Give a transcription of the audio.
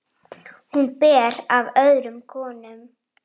Ekki ég, hvað þá þú.